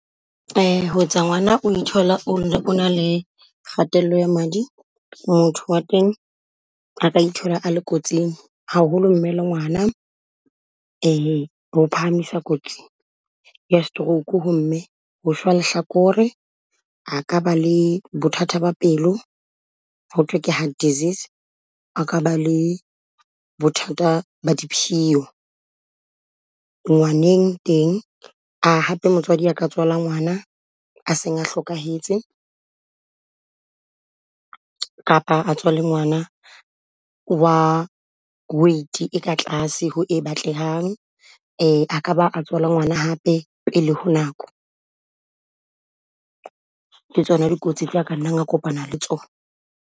Ho etsa ngwana o ithola o ne o na le kgatello ya madi, motho wa teng ka ithola a le kotsing haholo mme le ngwana e ho phahamisa kotsing. Le stroke ho mme ho swa lehlakore a ka ba le bothata ba pelo ho thwe ke heart disease, a ka ba le bothata ba diphiyo. Ngwaneng teng hape motswadi a ka tswala ngwana a seng a hlokahetse kapa a tswale ngwana wa weight e ka tlase ho e batlehang. A ka ba a tswala ngwana hape pele ho nako, ke tsona dikotsi tse a ka nna a kopana le tsona.